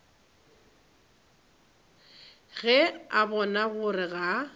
ge a bona gore ga